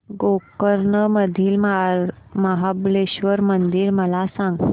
गोकर्ण मधील महाबलेश्वर मंदिर मला सांग